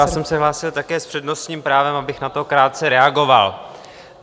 Já jsem se hlásil také s přednostním právem, abych na to krátce reagoval.